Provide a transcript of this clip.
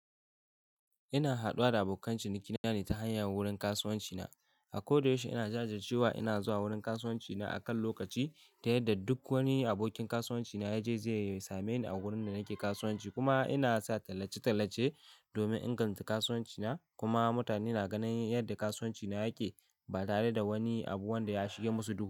Ina haɗuwa da abokan ciniki na ne ta hanyar wurin kasuwanci na. A ko da yaushe ina jajirce wa ina zuwa wurin kasuwanci na a kan lokaci ta yadda duk wani abokin kasuwanci na yaje zai same ni a wurin da nake kasuwanci kuma ina sa tallace-tallace domin inganta kasuwanci na kuma mutane na ganin yadda kasuwanci na yake ba tare da wani abu wanda ya shige musu duhu.